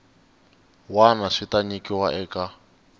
wana swi ta nyikiwa eka